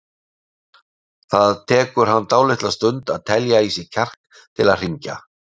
Það tekur hann dálitla stund að telja í sig kjark til að hringja.